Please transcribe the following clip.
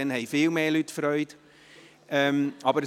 Dann haben nämlich viel mehr Leute Freude.